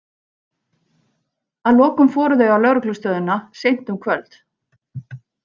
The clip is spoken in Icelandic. Að lokum fóru þau á lögreglustöðina, seint um kvöld.